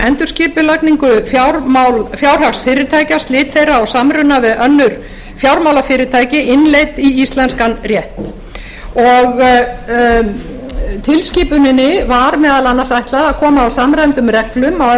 endurskipulagningu fjárhags fyrirtækja og slit þeirra og samruna við önnur fjármálafyrirtæki innleidd í íslenskan rétt tilskipuninni var meðal annars ætlað að koma á samræmdum reglum á